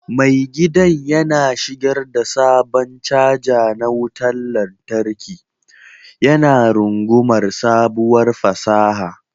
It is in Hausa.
Mai gidan yana shigar da sabon caja na wutar lantarki, yana rungumar sabuwar fasaha.